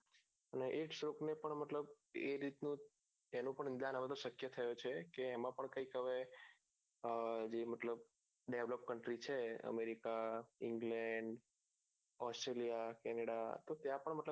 અને એક ને પણ મતલબ એ રીત નું તેનું પણ ઉદાન successful થયો છે કે એમો પણ કઈંક હવે આહ એ મતલબ developed country છે americaenglendauseraliacaneda તો ત્યાં પણ મતલબ